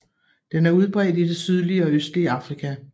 Den er udbredt i det sydlige og østlige Afrika